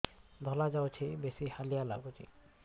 ଧଳା ଯାଉଛି ବେଶି ହାଲିଆ ଲାଗୁଚି